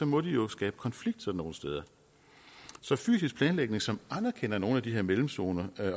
må de jo skabe konflikt sådan nogle steder så fysisk planlægning som anerkender nogle af de her mellemzoner